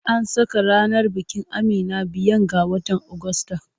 An saka ranar bikin Amina biyan ga watan Ogusta.